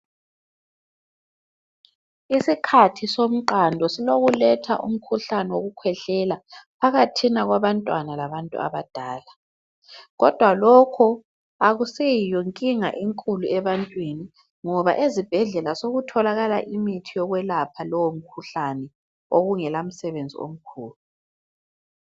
Isikhathi somqando silokuletha umkhuhlane wokukhwehlela phakathina kwabantwana labantu abadala. Kodwa lokho akuseyiyo nkinga enkulu ebantwini ngoba ezibhedlela sekutholakala imithi yokwelapha lowomkhuhlane obungela msebenzi omkhulu.